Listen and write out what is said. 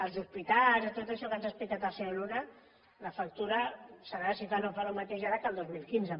dels hospitals i tot això que ens ha explicat el senyor luna la factura serà si fa no fa el mateix ara que el dos mil quinze